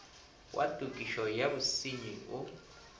wa tokišo ya bosenyi o